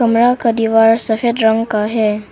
बड़ा का दीवार सफेद रंग का है।